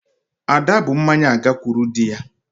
Ada bu mmanya agakwuru dị ya